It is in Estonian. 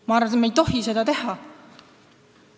Ma arvan, et me ei tohi seda teha.